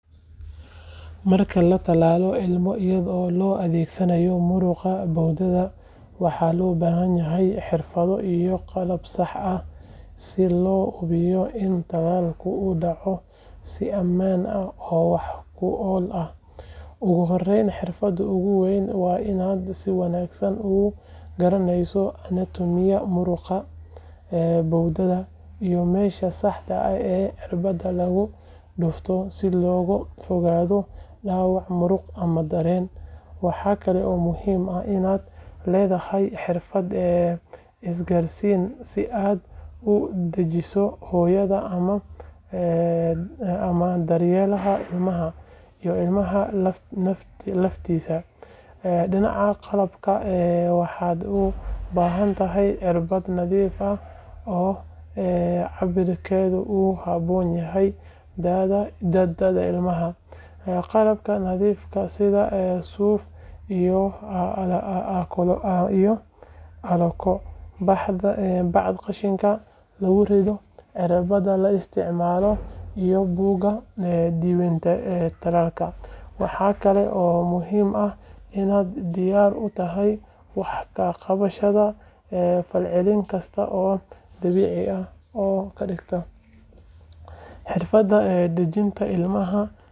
Marka latalalo ilmo iyado loo adhegsanayo muraqa bowdadha waxa lobahanyahay xirfadho iyo qalab sax ah, si lohubiyo ini talalka udaco sii aman leh oo wax kual ah ogu horeyn xirfada oguweyn waa ina si wanagsan ugaraneyso anatomy muraqa ee bowdadha iyo mesha iyo mesha saxda ee cirbada lagu durfo si loga fogado dawac muruq amaah daren, waxa kale oo muhim ah inad ledahay xirfad isgarsin sii ad udajiso hoyada ama daryelaha ilmaha iyoh ilmaha laftisa dinaqa qalabka ee waxad ubahantahay cirbad nadaf ah oo ee cabarkedha uu habonyahay da'da ilmaha, qalabka nadifka sidhaa suf iyoh calako, bacda qashinka lagu rido, cirbada la istacmalo iyoh buqa diwanka talalka waxa kale oo muhim ah inad diyar utahay wax daa qabashada iyoh falcelin kista oo dabici ah oo kadigta xirfada dajinta ilmaha.